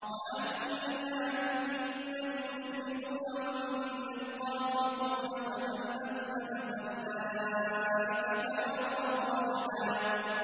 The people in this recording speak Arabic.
وَأَنَّا مِنَّا الْمُسْلِمُونَ وَمِنَّا الْقَاسِطُونَ ۖ فَمَنْ أَسْلَمَ فَأُولَٰئِكَ تَحَرَّوْا رَشَدًا